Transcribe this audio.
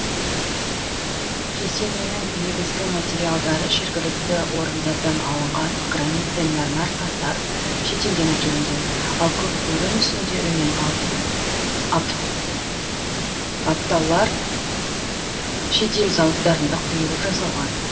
кесененің негізгі материалдары жергілікті орындардан алынған гранит пен мәрмәр тастар шетелден әкелінген ал көк бөрі мүсіндері мен алтын аптаулар шет ел зауыттарында құйылып жасалған